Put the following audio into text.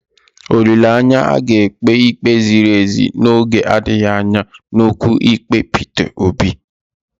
Olileanya, a ga-ekpe ikpe ziri ezi n'oge adịghị anya n'okwu ikpe Peter Obi.